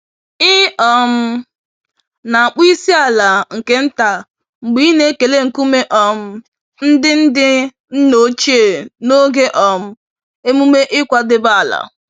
Ị um na-akpọ isi-ala nke nta mgbe ị na-ekele nkume um ndị ndị nna ochie n'oge um emume ịkwadebe ala.